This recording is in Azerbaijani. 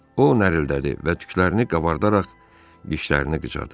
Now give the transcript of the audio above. O, nərildədi və tüklərini qabardaraq dişlərini qıcadı.